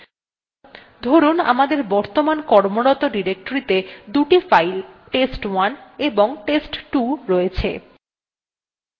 ধরুন আমাদের বর্তমান কর্মরত ডিরেক্টরীতে দুটো files test1 এবং test2 রয়েছে